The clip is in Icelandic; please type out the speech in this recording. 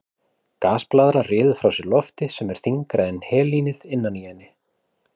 Gasblaðra ryður frá sér lofti sem er þyngra en helínið innan í henni.